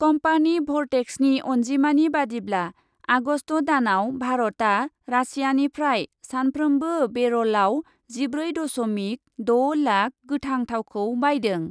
Company भर्टेक्सनि अन्जिमानि बादिब्ला, आगस्ट दानआव भारतआ रासियानिफ्राय सानफ्रोमबो बेरलआव जिब्रै दस'मिक द' लाख गोथां थावखौ बायदों ।